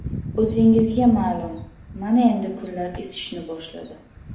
O‘zingizga ma’lum, mana endi kunlar isishni boshladi.